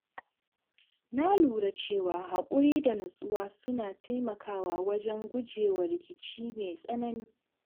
Na lura cewa haƙuri da nutsuwa suna taimakawa wajen gujewa rikici mai tsanani.